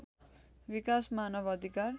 विकास मानव अधिकार